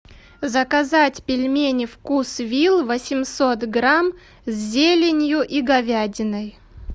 заказать пельмени вкус вилл восемьсот грамм с зеленью и говядиной